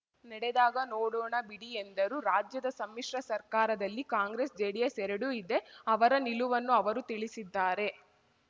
ನೆಡೆದಾಗ ನೋಡೋಣ ಬಿಡಿ ಎಂದರು ರಾಜ್ಯದ ಸಮ್ಮಿಶ್ರ ಸರ್ಕಾರದಲ್ಲಿ ಕಾಂಗ್ರೆಸ್‌ಜೆಡಿಎಸ್‌ ಎರಡೂ ಇದೆ ಅವರ ನಿಲುವನ್ನು ಅವರು ತಿಳಿಸಿದ್ದಾರೆ